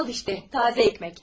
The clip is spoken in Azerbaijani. Al, bax, təzə çörək.